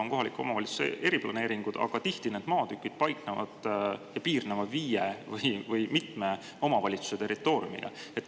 On kohaliku omavalitsuse eriplaneeringud, aga tihti need maatükid paiknevad mitme omavalitsuse territooriumil või piirnevad nendega.